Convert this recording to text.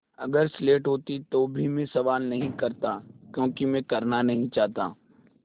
अगर स्लेट होती तो भी मैं सवाल नहीं करता क्योंकि मैं करना नहीं चाहता